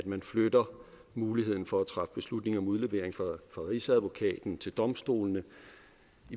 man flytter muligheden for at træffe beslutning om udlevering fra rigsadvokaten til domstolene